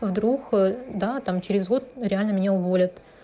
вдруг ээ да там через год реально меня уволят